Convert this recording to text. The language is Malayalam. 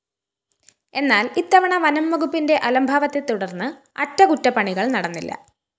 എന്നാല്‍ ഇത്തവണ വനംവകുപ്പിന്റെ അലംഭാവത്തെ തുടര്‍ന്ന് അറ്റകുറ്റപ്പണികള്‍ നടന്നില്ല